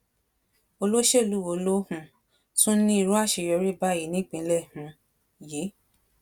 olóṣèlú wo ló um tún ní irú àṣeyọrí báyìí ní ìpínlẹ um yìí